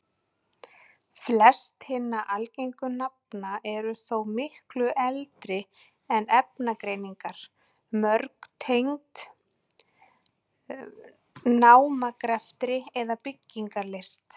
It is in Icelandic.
Flest hinna algengu nafna eru þó miklu eldri en efnagreiningar, mörg tengd námagreftri eða byggingarlist.